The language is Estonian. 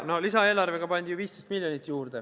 Lisaeelarvega pandi ju 15 miljonit juurde.